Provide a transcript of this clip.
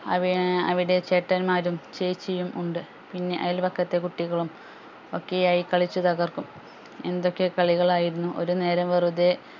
അവി ഏർ അവിടെ ചേട്ടൻമാരും ചേച്ചിയും ഉണ്ട് പിന്നെ അയൽവക്കത്തെ കുട്ടികളും ഒക്കെ ആയി കളിച്ചുതകർക്കും എന്തൊക്കെ കളികൾ ആയിരുന്നു ഒരു നേരം വെറുതെ